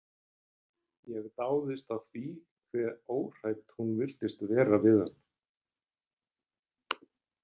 Ég dáðist að því hve óhrædd hún virtist vera við hann.